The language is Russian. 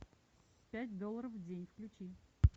пять долларов в день включи